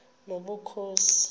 nobukhosi